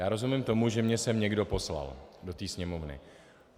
Já rozumím tomu, že mě sem někdo poslal, do té Sněmovny.